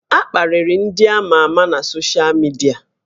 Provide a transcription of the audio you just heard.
A kparịrị ndị amà amà na soshal midia